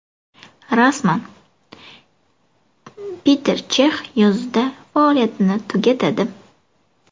Rasman: Peter Chex yozda faoliyatini tugatadi.